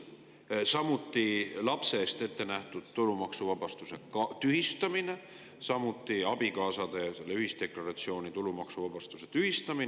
Tühistati lapse eest ette nähtud tulumaksuvabastus, samuti abikaasade ühisdeklaratsiooni tulumaksuvabastus ja nõnda edasi.